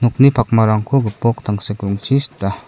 pakmarangko gipok tangsek rongchi sita.